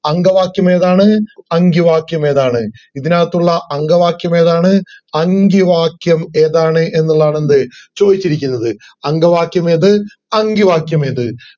അങ്കവാക്യം ഏതാണ് അങ്കിവാക്യം ഏതാണ് ഇതിനകത്തുള്ള അങ്കവാക്യം ഏതാണ് അങ്കിവാക്യം ഏതാണ് എന്നുള്ളതാണ് എന്ത് ചോയ്ച്ചിരിക്കുന്നത്. അങ്കവാക്യം ഏത് അങ്കിവാക്യം ഏത്